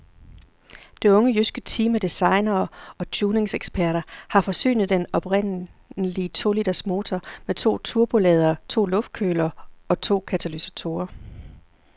Det unge jyske team af designere og tuningseksperter har forsynet den oprindelige to-liters motor med to turboladere, to luftkølere og to katalysatorer.